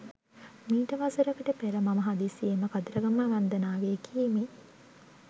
මීට වසරකට පෙර මම හදිසියේම කතරගම වන්දනාවේ ගියෙමි.